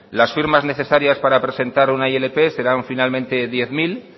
las firmas necesarias para presentar una ilp serán finalmente diez mil